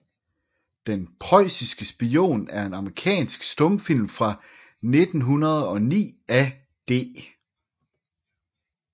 Den prøjsiske Spion er en amerikansk stumfilm fra 1909 af D